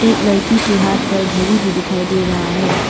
एक लड़की के हाथ पर घड़ी भी दिखाई दे रहा है।